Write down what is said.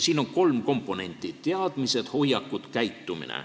Siin on kolm komponenti: teadmised, hoiakud, käitumine.